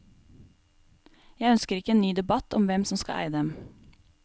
Jeg ønsker ikke en ny debatt om hvem som skal eie dem.